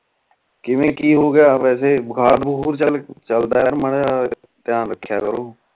ਕਿਵੇਂ ਕਿ ਹੋਗਿਆ ਵੈਸੇ ਬੁਖਾਰ ਬੁਖੁਰ ਚਲਦਾ ਆ ਮਾਰਾ ਜਾ ਧਯਾਨ ਰਖਿਆ ਕਰੋ